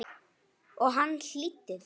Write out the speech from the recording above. Og hann hlýddi því.